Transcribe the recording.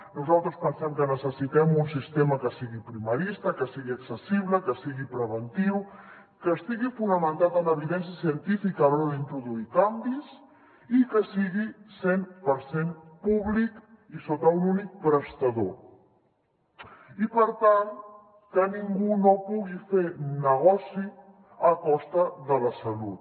nosaltres pensem que necessitem un sistema que sigui primarista que sigui accessible que sigui preventiu que estigui fonamentat en l’evidència científica a l’hora d’introduir canvis i que sigui cent per cent públic i sota un únic prestador i per tant que ningú no pugui fer negoci a costa de la salut